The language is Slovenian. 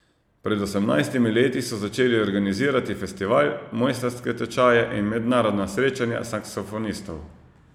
Pred osemnajstimi leti so začeli organizirati festival, mojstrske tečaje in mednarodna srečanja saksofonistov.